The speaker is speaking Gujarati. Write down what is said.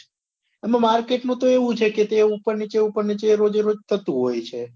એમાં market માં તો એવું છે કે તે ઉપર નીચે ઉપર નીચે રોજે રોજ થતું હોય છે